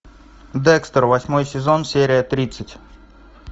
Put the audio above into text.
декстер восьмой сезон серия тридцать